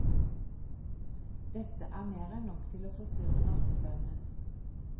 Dette er mer enn nok til å forstyrre nattesøvnen.